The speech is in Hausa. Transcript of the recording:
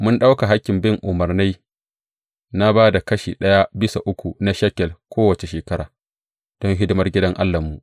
Mun ɗauka hakkin bin umarnai na ba da kashi ɗaya bisa uku na shekel kowace shekara don hidimar gidan Allahnmu.